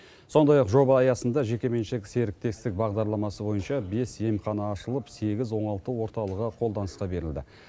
сондай ақ жоба аясында жекеменшік серіктестік бағдарламасы бойынша бес емхана ашылып сегіз оңалту орталығы қолданысқа берілді